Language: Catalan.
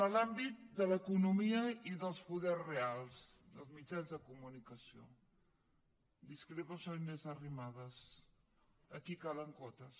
en l’àmbit de l’economia i dels poders reals dels mitjans de comunicació discrepo amb la senyora inés arrimadas aquí calen quotes